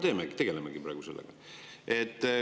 Sellega me praegu tegelemegi.